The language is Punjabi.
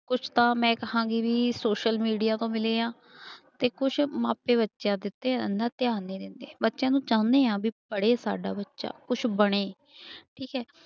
ਕੁਛ ਤਾਂ ਮੈਂ ਕਹਾਂਗੀ ਵੀ social media ਤੋਂ ਮਿਲੇ ਆ ਤੇ ਕੁਛ ਮਾਪੇ ਬੱਚਿਆਂ ਦੇ ਉੱਤੇ ਇੰਨਾ ਧਿਆਨ ਨੀ ਦਿੰਦੇ, ਬੱਚਿਆਂ ਨੂੰ ਚਾਹੁਨੇ ਹਾਂ ਵੀ ਪੜ੍ਹੇ ਸਾਡਾ ਬੱਚਾ ਕੁਛ ਬਣੇ ਠੀਕ ਹੈ।